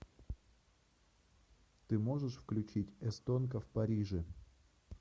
ты можешь включить эстонка в париже